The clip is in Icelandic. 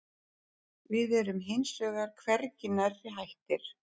Við erum hins vegar hvergi nærri hættir